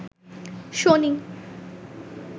শনি